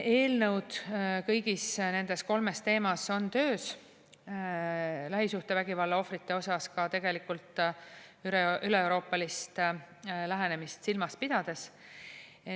Eelnõud kõigis nendes kolmes teemas on töös, lähisuhtevägivalla ohvrite puhul ka tegelikult üleeuroopalist lähenemist silmas pidades.